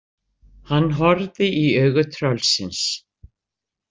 Hann horfði í augu tröllsins.